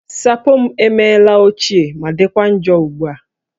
Sapo m emela ochie ma dịkwa njọ ugbu a